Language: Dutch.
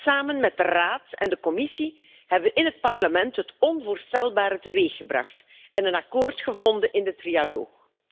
Samen met de Raad en de Commissie hebben we in het Parlement het onvoorstelbare teweeggebracht en een akkoord gevonden in de trialoog.